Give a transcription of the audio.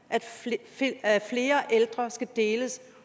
er at flere ældre skal deles